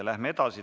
Läheme edasi.